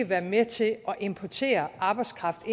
være med til at importere arbejdskraft